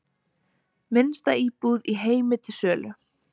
Minnsta íbúð í heimi til sölu